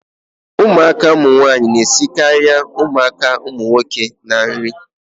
Ụmụaka nwaanyị na-esikarị ụmụaka nwoke na nri